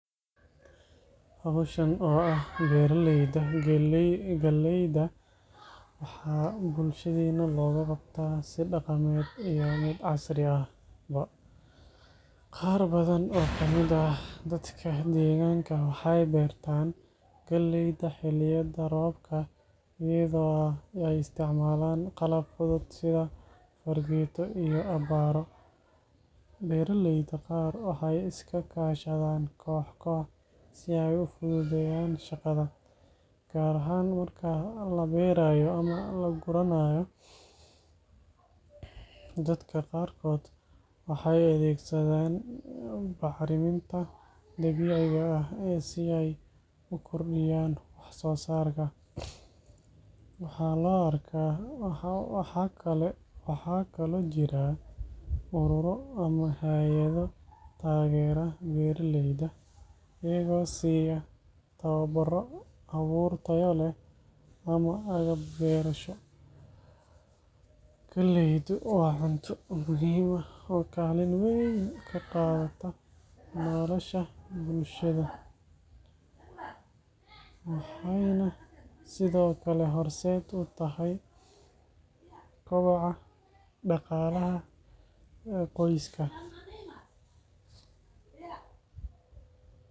Hawshan oo ah beeralayda galleyda, waxaa bulshadeenna looga qabtaa si dhaqameed iyo mid casri ahba. Qaar badan oo ka mid ah dadka deegaanka waxay beertaan galleyda xilliyada roobka iyadoo ay isticmaalaan qalab fudud sida fargeeto iyo abbaaro. Beeralayda qaar waxay iska kaashadaan koox-koox si ay u fududeeyaan shaqada, gaar ahaan marka la beeraayo ama la guranaayo. Dadka qaarkood waxay adeegsadaan bacriminta dabiiciga ah si ay u kordhiyaan wax-soosaarka. Waxaa kaloo jira ururo ama hay’ado taageera beeraleyda, iyagoo siiya tababarro, abuur tayo leh ama agab beerasho. Galleydu waa cunto muhiim ah oo kaalin weyn ka qaadata nolosha bulshada, waxayna sidoo kale horseed u tahay koboca dhaqaalaha qoysaska.